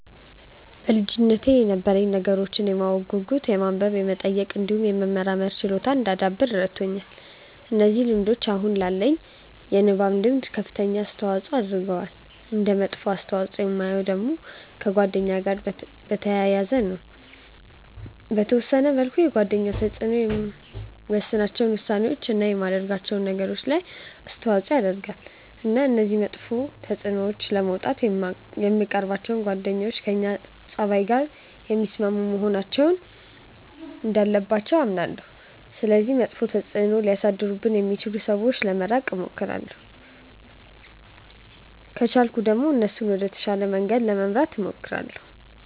በልጅነቴ የነበረኝ ነገሮችን የማወቅ ጉጉት የማንበብ የመጠየቅ እንዲሁም የመመርመር ችሎታን እንዳዳብር ረድቶኛል። እነዚህ ልምዶች አሁን ላለኝ የማንበብ ልምድ ከፍተኛ አስተዋጽዖ አድርገዋል። እንደ መጥፎ ተፅእኖ የማየው ደግሞ ከጓደኛ ጋር በተያያዘ ነው። በተወሰነ መልኩ የጓደኞች ተጽእኖ የምወስናቸው ውሳኔዎች፣ እና የማደርጋቸው ነገሮች ላይ ተጽእኖ ያረጋል። እና ከዚህ መጥፎ ተጽእኖ ለመውጣት የምንቀርባቸው ጓደኞች ከእኛ ፀባይ ጋር የሚስማሙ መሆን እንዳለባቸው አምናለሁ። ስለዚህ መጥፎ ተጽእኖ ሊያሳድሩብኝ ከሚችሉ ሰዎች ለመራቅ እሞክራለሁ። ከቻልኩ ደግሞ እነሱንም ወደ ተሻለ መንገድ ለመምራት እሞክራለሁ።